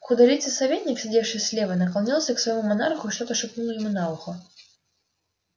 худолицый советник сидевший слева наклонился к своему монарху и что-то шепнул ему на ухо